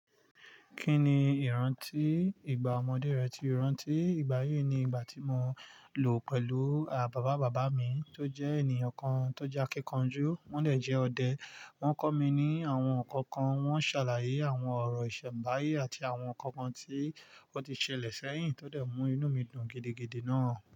Kí ni ìrántí ìgbà ọmọdé rẹ ti o rántí? Ìgbà yí ni ìgbà tí mo lò pẹ̀lú à-bàbá bàbá mi tó jẹ́ ènìyàn kan tó jẹ́ akíkanjú, wọ́n dẹ̀ jẹ́ ọdẹ. Wọ́n kọ̀ mí ní àwọn nǹkan kan, wọ́n ṣàlàyé àwọn ọ̀rọ̀ ìṣẹ̀nbáyé àti àwọn nǹkan kan tí ó ti ṣẹlẹ̀ sẹ́yìn tó dẹ̀ mú inú mi dùn gidigidi náà.